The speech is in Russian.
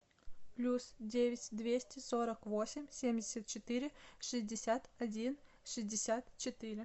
плюс девять двести сорок восемь семьдесят четыре шестьдесят один шестьдесят четыре